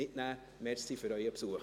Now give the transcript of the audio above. Vielen Dank für Ihren Besuch.